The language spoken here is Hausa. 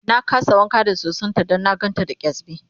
na kasa wanka da sosan ta Dan na gan ta da kyasbi